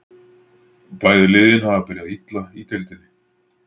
Bæði liðin hafa byrjað illa í deildinni.